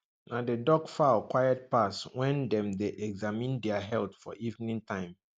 na the duck fowl quiet pass when dem dey examine their health for evening time